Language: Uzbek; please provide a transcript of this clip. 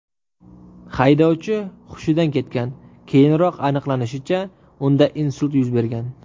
Haydovchi hushidan ketgan, keyinroq aniqlanishicha, unda insult yuz bergan.